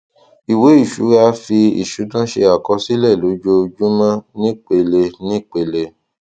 ìwé ìṣura fi ìṣúná ṣe àkọsílẹ lójoojúmó nípelenípele